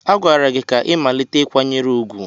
A gwara gị ka ị malite ịkwanyere ugwu!